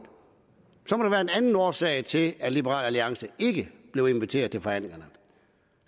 anden årsag til at liberal alliance ikke blev inviteret til forhandlingerne